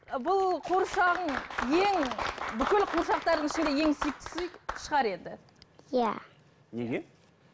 бұл қуыршағың ең бүкіл қуыршақтарыңның ішінде ең сүйіктісі шығар енді иә неге